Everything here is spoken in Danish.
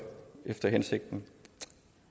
efter hensigten